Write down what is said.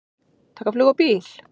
Taka flug og bíl?